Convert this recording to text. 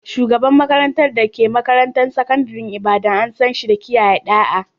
Shugaban makarantar da ke makarantar sakandaren Ibadan, an san shi da kiyaye ɗa'a.